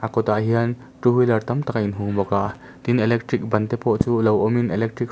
a kawtah hian two wheeler tam tak a in hung bawk a tin electric ban te pawh chu lo awmin electric hrui--